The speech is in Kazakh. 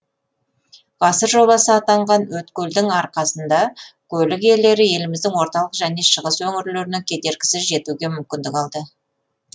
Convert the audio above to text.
ғасыр жобасы атанған өткелдің арқасында көлік иелері еліміздің орталық және шығыс өңірлеріне кедергісіз жетуге мүмкіндік алды